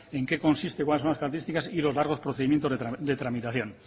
en qué consiste cuáles son las características y los largos procedimientos de tramitación